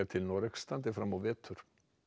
til Noregs standi fram á vetur